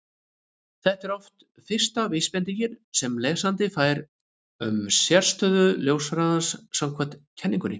þetta er oft fyrsta vísbendingin sem lesandi fær um sérstöðu ljóshraðans samkvæmt kenningunni